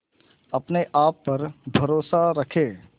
अपने आप पर भरोसा रखें